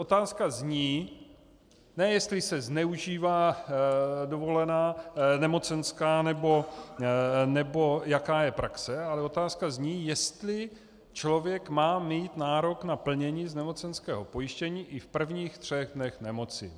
Otázka zní ne jestli se zneužívá nemocenská nebo jaká je praxe, ale otázka zní, jestli člověk má mít nárok na plnění z nemocenského pojištění i v prvních třech dnech nemoci.